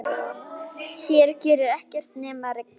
Hér gerir ekkert nema rigna.